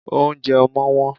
Óunjẹ ọmọ́ wón